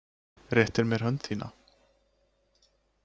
Réttir mér hönd þína.